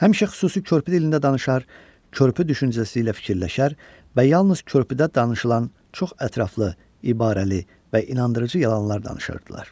Həmişə xüsusi körpü dilində danışar, körpü düşüncəsi ilə fikirləşər və yalnız körpüdə danışılan çox ətraflı, ibarəli və inandırıcı yalanlar danışırdılar.